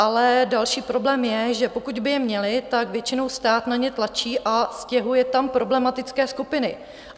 Ale další problém je, že pokud by je měli, tak většinou stát na ně tlačí a stěhuje tam problematické skupiny.